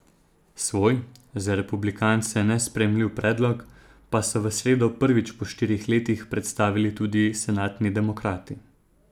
Svoj, za republikance nesprejemljiv predlog, pa so v sredo prvič po štirih letih predstavili tudi senatni demokrati.